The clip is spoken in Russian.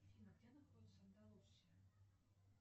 афина где находится андалусия